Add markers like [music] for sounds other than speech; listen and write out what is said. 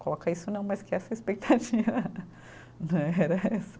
Colocar isso não, mas criar essa expectativa [laughs] né. [unintelligible]